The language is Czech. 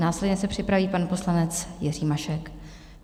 Následně se připraví pan poslanec Jiří Mašek.